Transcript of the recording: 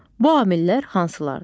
Bu amillər hansılardır?